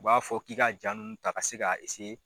U b'a fɔ k'i ka jaa ninnu ta ka se ka